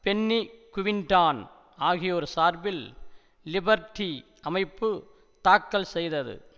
Penney Quinton ஆகியோர் சார்பில் Liberty அமைப்பு தாக்கல் செய்தது